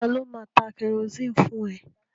Ta ló máa ta kẹrosini fún ẹ?